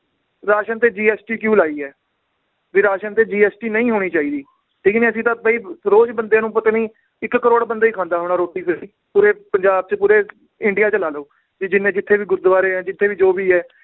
ration ਤੇ GST ਕਿਉਂ ਲਾਈ ਏ ਵੀ ਰਾਸ਼ਨ ਤੇ GST ਨਈ ਹੋਣੀ ਚਾਹੀਦੀ ਠੀਕ ਨੀ ਅਸੀਂ ਤਾਂ ਵੀ ਰੋਜ ਬੰਦਿਆਂ ਨੂੰ ਪਤਾ ਨੀ ਇੱਕ ਕਰੋੜ ਬੰਦਾ ਈ ਖਾਂਦਾ ਹੋਣਾ ਰੋਟੀ ਪੂਰੇ ਪੰਜਾਬ ਚ ਪੂਰੇ ਇੰਡੀਆ ਚ ਲਾ ਲਓ ਵੀ ਜਿੰਨੇ ਜਿੱਥੇ ਵੀ ਗੁਰਦਵਾਰੇ ਏ ਜਿਥੇ ਵੀ ਜੋ ਵੀ ਏ